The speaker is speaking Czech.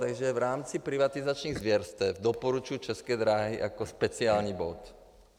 Takže v rámci privatizačních zvěrstev doporučuji České dráhy jako speciální bod.